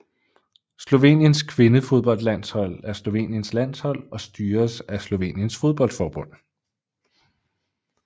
Sloveniens kvindefodboldlandshold er Sloveniens landshold og styres af Sloveniens fodboldforbund